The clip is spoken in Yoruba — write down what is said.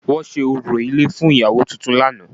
Wọ́n ṣe orò ilé fún ìyàwó tuntun lánàá